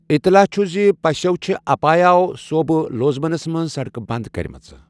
اطلاع چھُ ز پَسٮ۪و چھے اپایاو صوٗبہٕ، لوزونس منٛز سڑکہٕ بنٛد کرِمژٕ۔